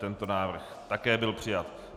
Tento návrh také byl přijat.